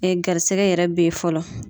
garisɛgɛ yɛrɛ be yen fɔlɔ.